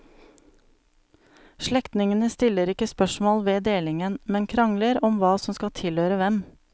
Slektningene stiller ikke spørsmål ved delingen, men krangler om hva som skal tilhøre hvem.